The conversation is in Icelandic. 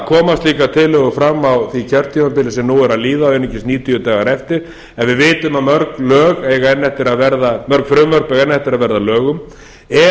koma slíkar tillögur fram á því kjörtímabili sem nú er að líða og einungis níutíu dagar eftir en við vitum að mörg frumvörp eiga enn eftir að verða að lögum er